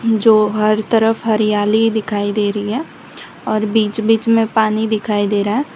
जो हर तरफ हरियाली दिखाई दे रही है और बीच बीच में पानी दिखाई दे रहा है।